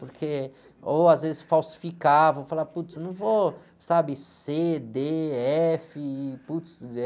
Porque, ou às vezes falsificava, falava, putz, não vou, sabe, cê, dê, éfe, e putz, é...